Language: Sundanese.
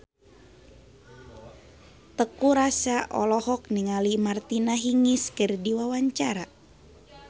Teuku Rassya olohok ningali Martina Hingis keur diwawancara